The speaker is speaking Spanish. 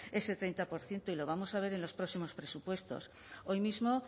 ese treinta por ciento y lo vamos a ver en los próximos presupuestos hoy mismo